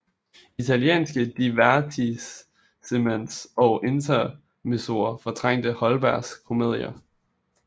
Italienske divertissements og intermezzoer fortrængte Holbergs komedier